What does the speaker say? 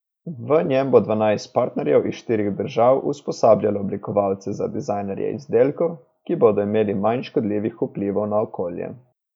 V njem bo dvanajst partnerjev iz štirih držav usposabljalo oblikovalce za dizajniranje izdelkov, ki bodo imeli manj škodljivih vplivov na okolje.